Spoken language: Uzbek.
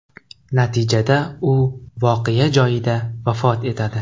Natijada u voqea joyida vafot etadi.